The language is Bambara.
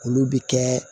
Olu bɛ kɛ